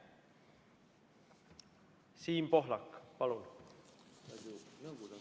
Siim Pohlak, palun!